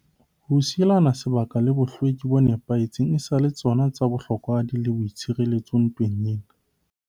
Ho sielana sebaka le bohlweki bo nepahetseng e sa le tsona tsa bohlokwahadi le boitshireletso ntweng ena.